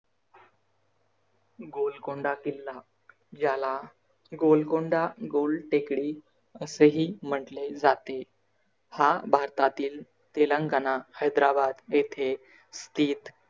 गोलकोंडा किल्ला ज्याला गोलकोंडा, गोल टेकडी असे ही म्हटले जाते. हा भारतातील तेलंगना हैद्राबाद येथे स्थीत